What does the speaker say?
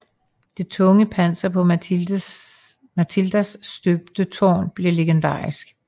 Det tunge panser på Matildas støbte tårn blev legendarisk